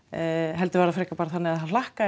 heldur var það bara þannig að það hlakkaði